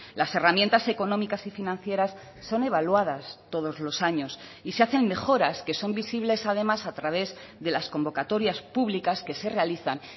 las herramientas económicas y financieras son evaluadas todos los años y se hacen mejoras que son visibles además a través de las convocatorias públicas que se realizan